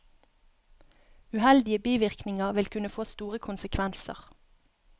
Uheldige bivirkninger vil kunne få store konsekvenser.